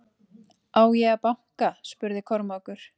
Á ég að banka spurði Kormákur.